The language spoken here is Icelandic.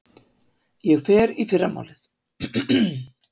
Ég fer í fyrramálið.